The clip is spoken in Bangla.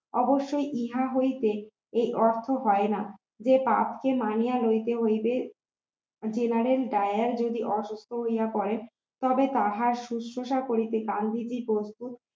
অবশ্যই ইহা হইতে এই অর্থ হয় না যে পাপকে মানিয়া লইতে হইবে general ডায়ার যদি অসুস্থ হইয়া পরে তবে তাহার সুস্থতা করিতে গান্ধীজি প্রস্তুত